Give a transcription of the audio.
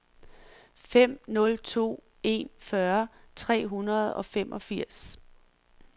fem nul to en fyrre tre hundrede og femogfirs